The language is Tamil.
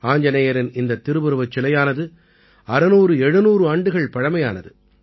ஆஞ்ஜநேயரின் இந்தத் திருவுருவச் சிலையானது 600700 ஆண்டுகள் பழைமையானது